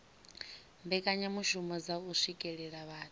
mbekanyamishumo dza u swikelela vhathu